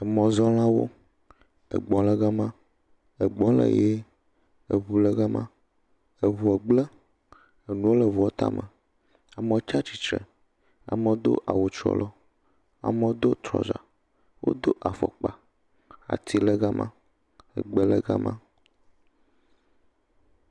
Emɔzɔlawo, egbɔ le gama, egbɔ le ʋi, eŋu le gama, eŋua gblẽ, amewo le eŋua tame, amewo tsi atsitre, amewo do awu trɔlɔ, amewo do trɔza, wodo afɔkpa, ati le gama, egbe le gama.